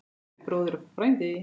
Kæri bróðir og frændi.